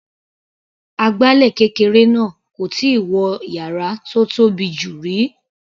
Agbálẹ̀ kékeré náà kò tíì wọ yàrá tó tóbi jù rí.